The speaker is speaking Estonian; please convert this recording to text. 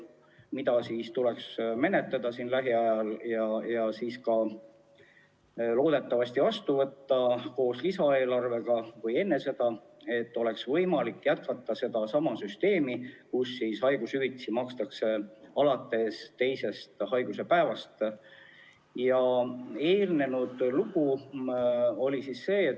Seda tuleks menetleda siin lähiajal ja siis loodetavasti ka vastu võtta, kas koos lisaeelarvega või enne seda, et oleks võimalik jätkata sedasama süsteemi, mille korral haigushüvitist makstakse alates teisest haiguspäevast.